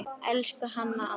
Elsku Hanna amma.